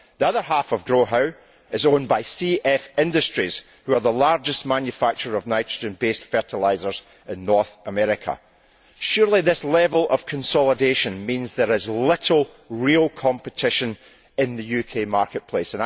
The other half of GrowHow is owned by CF Industries, which is the largest manufacturer of nitrogen based fertilisers in North America. Surely this level of consolidation means there is little real competition in the UK marketplace.